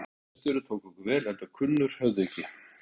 Einar, bóndi og hreppstjóri, tók okkur vel enda kunnur höfðingi.